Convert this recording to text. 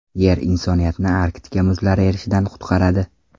Yer insoniyatni Arktika muzlari erishidan qutqaradi.